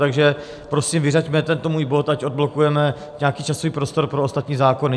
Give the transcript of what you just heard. Takže prosím, vyřaďme tento můj bod, ať odblokujeme nějaký časový prostor pro ostatní zákony.